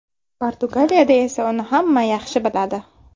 Portugaliyada esa uni hamma yaxshi biladi.